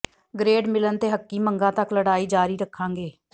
grade ਮਿਲਣ ਤੇ ਹੱਕੀ ਮੰਗਾਂ ਤੱਕ ਲੜਾਈ ਜਾਰੀ ਰੱਖਾਂਗੇ